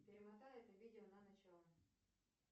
перемотай это видео на начало